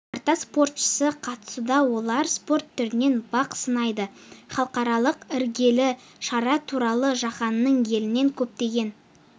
тарта спортшысы қатысуда олар спорт түрінен бақ сынайды халықаралық іргелі шара туралы жаһанның елінен көптеген